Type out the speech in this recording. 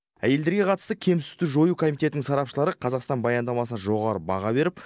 әйелдерге қатысты кемсіту жою комитетінің сарапшылары қазақстан баяндамасына жоғары баға беріп